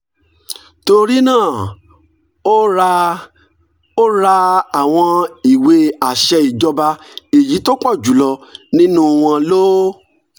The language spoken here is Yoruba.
torí náà ó ra ó ra àwọn ìwé àṣẹ ìjọba èyí tó pọ̀ jù lọ nínú wọn ló